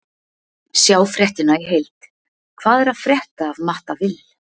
Sjá fréttina í heild: Hvað er að frétta af Matta Vill?